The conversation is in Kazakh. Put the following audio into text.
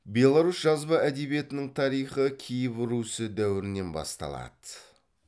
беларусь жазба әдебиетінің тарихы киев русі дәуірінен басталады